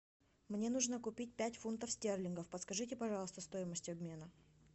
мне нужно купить пять фунтов стерлингов подскажите пожалуйста стоимость обмена